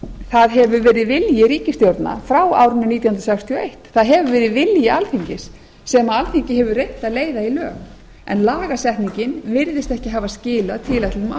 það hefur verið vilji ríkisstjórna frá árinu nítján hundruð sextíu og eitt það hefur verið vilji alþingis sem alþingi hefur reynt að leiða í lög en lagasetningin virðist ekki hafa skilað tilætluðum